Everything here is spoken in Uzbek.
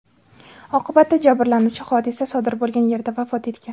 Oqibatda jabrlanuvchi hodisa sodir bo‘lgan yerda vafot etgan.